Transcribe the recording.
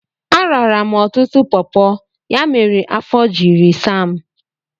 Arara m ọtụtụ pọpọ, ya mere afọ jiri saa m.